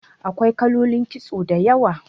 Akwai kalolin kitso da yawa